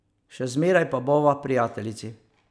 Še zmeraj pa bova prijateljici.